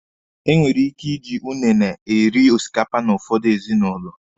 Enwere ike iji unune eri osikapa n'ụfọdụ ezinụlọ.